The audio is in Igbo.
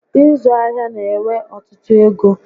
Ịzụ ahịa na ewe ọtụtụ égo